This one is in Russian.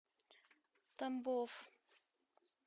тамбов